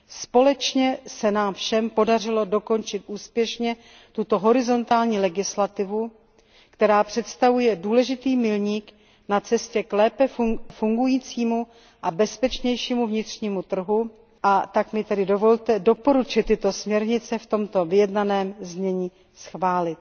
Společně se nám všem podařilo dokončit úspěšně tuto horizontální legislativu, která představuje důležitý milník na cestě k lépe fungujícímu a bezpečnějšímu vnitřnímu trhu, a tak mi tedy dovolte doporučit tyto směrnice v tomto vyjednaném znění schválit.